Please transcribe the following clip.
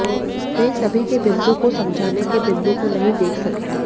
वे सभी के बिंदु को समझाने के बिंदु को नहीं देख सके